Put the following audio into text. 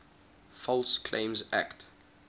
false claims act